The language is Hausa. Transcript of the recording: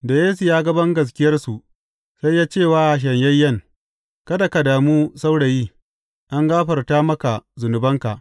Da Yesu ya ga bangaskiyarsu, sai ya ce wa shanyayyen, Kada ka damu saurayi, an gafarta maka zunubanka.